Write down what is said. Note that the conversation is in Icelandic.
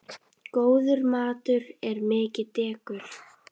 Góður matur er mikið dekur.